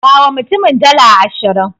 Bawa mutumin dala ashirin.